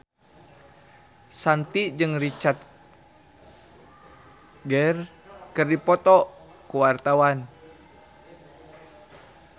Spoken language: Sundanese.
Shanti jeung Richard Gere keur dipoto ku wartawan